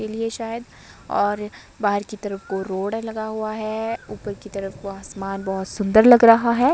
इलिये शायद और बाहर की तरफ को रोड लगा हुआ है ऊपर की तरफ को आसमान बहोत सुंदर लग रहा है।